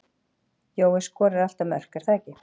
Jói skorar alltaf mörk er það ekki?